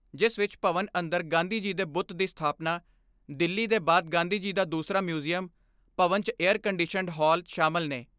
ਜਿਸ ਵਿਚ ਭਵਨ ਅੰਦਰ ਗਾਂਧੀ ਜੀ ਦੇ ਬੁੱਤ ਦੀ ਸਥਾਪਨਾ, ਦਿੱਲੀ ਦੇ ਬਾਅਦ ਗਾਂਧੀ ਜੀ ਦਾ ਦੂਸਰਾ ਮਿਊਂਜੀਅਮ, ਭਵਨ 'ਚ ਏਅਰ ਕੰਡੀਸ਼ਨਡ ਹਾਲ ਸ਼ਾਮਲ ਨੇ।